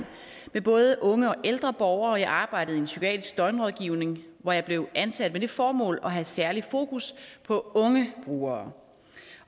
med både unge og ældre borgere jeg arbejdede i en psykiatrisk døgnrådgivning hvor jeg blev ansat med det formål at have særlig fokus på unge brugere